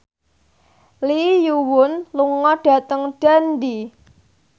Lee Yo Won lunga dhateng Dundee